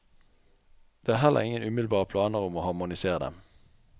Det er heller ingen umiddelbare planer om å harmonisere dem.